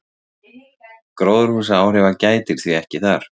gróðurhúsaáhrifa gætir því ekki þar